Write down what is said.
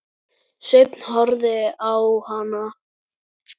Sveinn horfði á hana.